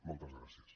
moltes gràcies